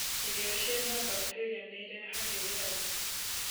Irio ciĩna bacterĩa nĩirehagirĩa ndaa